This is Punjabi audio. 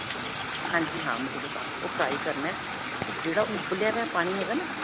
ਹਾਂਜੀ ਜੀ ਹਾਂ. material ਪਾਕੇ ਉਹ fry ਕਰਨਾ ਤੇ ਜਿਹੜਾ ਉਹ ਉਬਲਿਆ ਹੋਇਆ ਪਾਣੀ ਹੈਗਾ ਨਾ